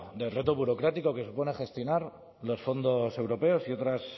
del reto burocrático que supone gestionar los fondos europeos y otras